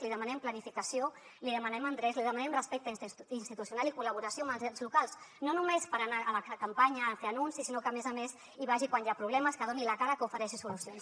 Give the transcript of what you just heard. li demanem planificació li demanem endreç li demanem respecte institucional i col·laboració amb els ens locals no només per anar a la campanya a fer anuncis sinó que a més a més hi vagi quan hi ha problemes que doni la cara que ofereixi solucions